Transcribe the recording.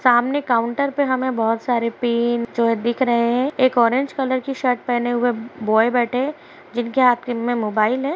सामने काउंटर पे हमे बोहोत सारे पेन च है दिख रहे हैं। एक ऑरेंज कलर की शर्ट पहने हुए बॉय बैठे ए जिनके हाथ किन में मोबाइल है।